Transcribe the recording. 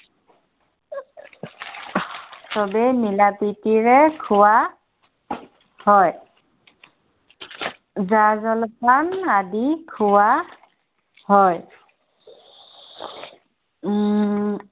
সৱেই মিলাপ্ৰীতিৰে খোৱা হয়। জা-জলপান আদি খোৱা হয়। উম